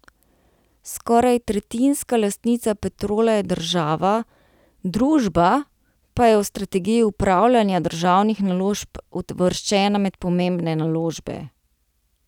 Skoraj tretjinska lastnica Petrola je država, družba pa je v strategiji upravljanja državnih naložb uvrščena med pomembne naložbe.